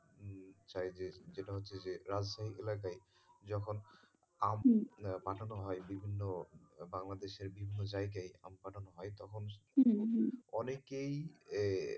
চাই যে যেটা হচ্ছে রাজধানী এলাকায় যখন পাঠানো হয় বিভিন্ন বাংলাদেশের বিভিন্ন জায়গায় পাঠানো হয় তখন অনেকেই,